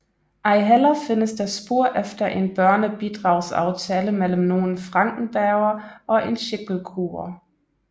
Ejheller findes der spor efter en børnebidragsaftale mellem nogen Frankenberger og en Schicklgruber